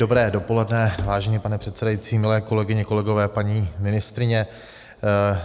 Dobré dopoledne, vážený pane předsedající, milé kolegyně, kolegové, paní ministryně.